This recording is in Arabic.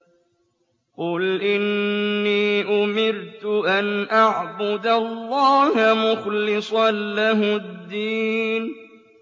قُلْ إِنِّي أُمِرْتُ أَنْ أَعْبُدَ اللَّهَ مُخْلِصًا لَّهُ الدِّينَ